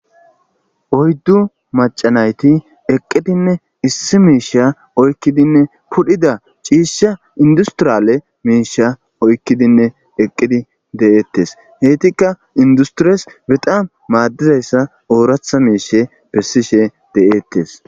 oyddu macanayti eqqidinne issi miisha oykkidinne pudhida ciisha industiriyale miisha oykkidinne eqqidi de7eettes heetikka industiries bexaan maaddizayssa ooratha miishe bessishe de7eettes